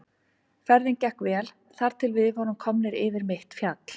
Ferðin gekk vel þar til við vorum komnir yfir mitt fjall.